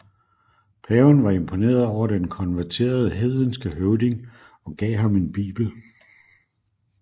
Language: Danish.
Paven var imponeret over den konverterede hedenske høvding og gav ham en bibel